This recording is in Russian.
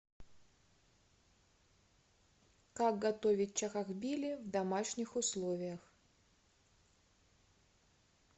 как готовить чахохбили в домашних условиях